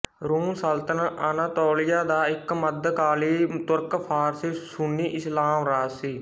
room ਸਲਤਨਤ Anatolia ਦਾ ਇੱਕ ਮੱਧਕਾਲੀ ਤੁਰਕਫ਼ਾਰਸੀ ਸੁੰਨੀ ਇਸਲਾਮ ਰਾਜ ਸੀ